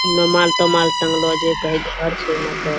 रोमाल-तोमाल टांगलो छै कहे घर छै ना एकर ।